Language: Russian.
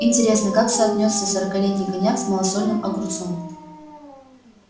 интересно как соотнесется сорокалетний коньяк с малосольным огурцом